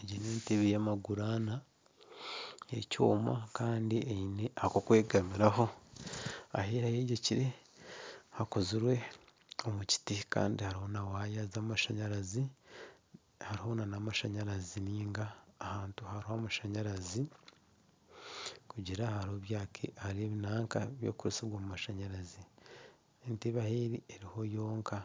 Egi n'entebe y'amaguru anaana kandi eine eky'okwegamiraho, ahu eri ahu eyegyekire hakozirwe omu kiti kandi hariho na waaya z'amashanyarazi, hariho nana amashanyarazi nainga ahantu ahariho amashanyarazi, entebe ahu eri eriho yonka